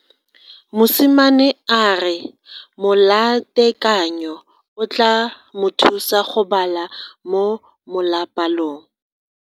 Mosimane a re molatekanyo o tla mo thusa go bala mo molapalong.